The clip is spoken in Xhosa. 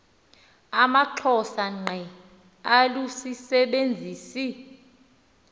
amaxhosa ngqe alusisebenzisi